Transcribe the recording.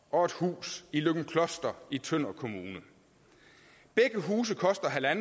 og et hus i løgumkloster i tønder kommune begge huse koster